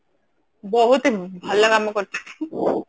ବହୁତ ଭଲ କାମ କରିଛନ୍ତି